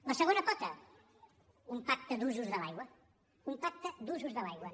la segona pota un pacte d’usos de l’aigua un pacte d’usos de l’aigua